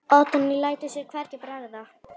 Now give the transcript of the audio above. Oddný lætur sér hvergi bregða.